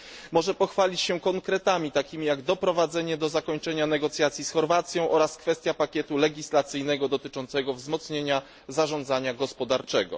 Może pochwalić się konkretami, takim jak doprowadzenie do zakończenia negocjacji z Chorwacją oraz kwestia pakietu legislacyjnego dotyczącego wzmocnienia zarządzania gospodarczego.